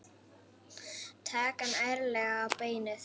Taka hann ærlega á beinið.